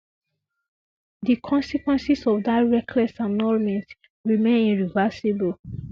di consequences of dat reckless annulment remain irreversible